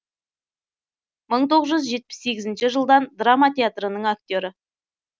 мың тоғыз жүз жетпіс сегізінші жылдан драма театрының актері